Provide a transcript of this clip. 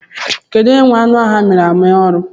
Onye nwe anụ ahụ a miri amị arụ?